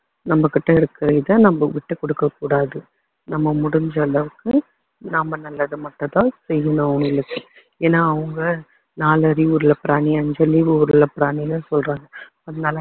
நம்மகிட்ட இருக்கிற இதை நம்ம விட்டு கொடுக்க கூடாது நம்ம முடிஞ்ச அளவுக்கு நாம நல்லதை மட்டும்தான் செய்யணும் அவங்களுக்கு ஏன்னா அவங்க நாலு அறிவுள்ள பிராணி அஞ்சு அறிவுள்ள பிராணின்னு என்று சொல்றாங்க அதனால